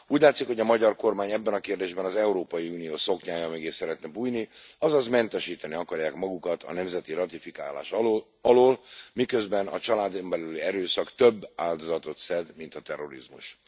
Úgy látszik, hogy a magyar kormány ebben a kérdésben az Európai Unió szoknyája mögé szeretne bújni, azaz mentesíteni akarják magukat a nemzeti ratifikálás alól, miközben a családon belüli erőszak több áldozatot szed, mint a terrorizmus.